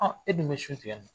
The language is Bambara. A e dun bɛ su tigɛ ne na